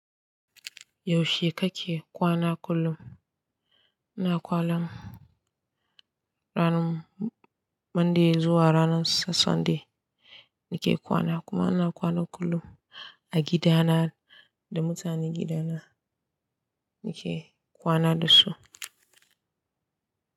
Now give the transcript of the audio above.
Yaushe kake kwana kullum? Ina kwana ranar Monday zuwa ranar Sunday nake kwana. Kuma ina kwana kullum a gidana da mutanen gidana nake kwana da su.